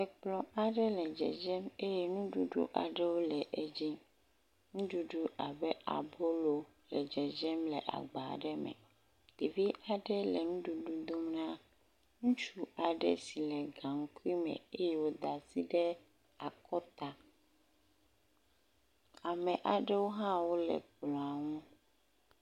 Ekplɔ aɖe le dzedze eye nuɖuɖu aɖewo le edzi. Nuɖuɖu abe abolo le dzedzem le agba ɖe me. Ɖevi aɖe le nuɖuɖu dom na ŋutsu aɖe si le gaŋkui me eye woda asi ɖe akɔta. Ame aɖewo hã wo le kplɔa nu.